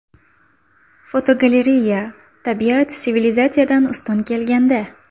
Fotogalereya: Tabiat sivilizatsiyadan ustun kelganda.